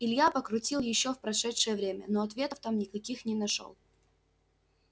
илья покрутил ещё в прошедшее время но ответов там никаких не нашёл